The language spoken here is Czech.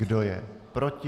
Kdo je proti?